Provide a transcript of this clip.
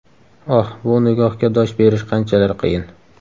Oh, bu nigohga dosh berish qanchalar qiyin!